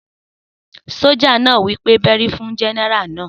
Sójà náà wí pé bẹ́rí fún Gẹ́nẹ́rà náà!